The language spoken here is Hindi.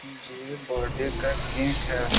ये बर्थडे का केक है |